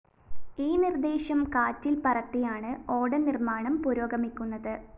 ഈ നിര്‍ദേശം കാറ്റില്‍ പറത്തിയാണ് ഓടനിര്‍മ്മാണം പുരോഗമിക്കുന്നത്